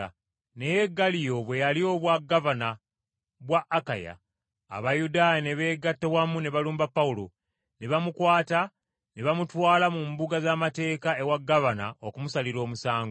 Naye Galiyo bwe yalya obwagavana bwa Akaya, Abayudaaya ne beegatta wamu ne balumba Pawulo, ne bamukwata ne bamutwala mu mbuga z’amateeka ewa gavana okumusalira omusango.